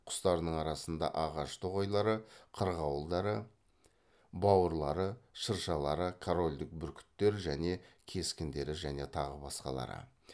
құстарының арасында ағаш тоғайлары қырғауылдары бауырлары шыршалары корольдік бүркіттер және кескіндері және тағы басқалары